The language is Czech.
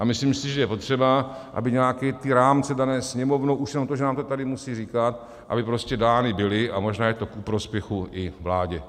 A myslím si, že je potřeba, aby nějaké ty rámce dané Sněmovnou, už jenom to, že nám to tady musí říkat, aby prostě dány byly, a možná je to ku prospěchu i vládě.